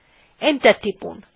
enter টিপুন